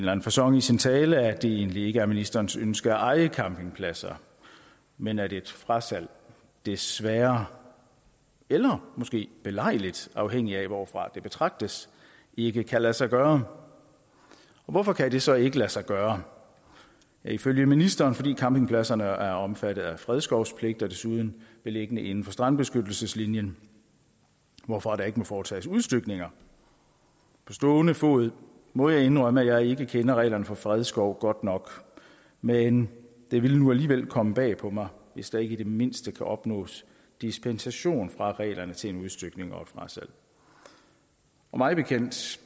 anden facon i sin tale at det egentlig ikke er ministerens ønske at eje campingpladser men at et frasalg desværre eller måske belejligt afhængigt af hvorfra det betragtes ikke kan lade sig gøre og hvorfor kan det så ikke lade sig gøre ifølge ministeren fordi campingpladserne er omfattet af fredskovspligt og desuden beliggende inden for strandbeskyttelseslinjen hvorfra der ikke må foretages udstykninger på stående fod må jeg indrømme at jeg ikke kender reglerne for fredskov godt nok men det ville nu alligevel komme bag på mig hvis der ikke i det mindste kunne opnås dispensation fra reglerne til udstykning og frasalg og mig bekendt